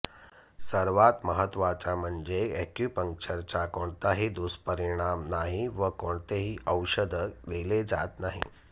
सर्वात महत्वाचे म्हणजे अॅक्युपंक्चरचा कोणताही दुष्परिणाम नाही व कोणतेही औषध दिले जात नाही